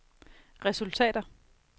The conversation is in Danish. resultater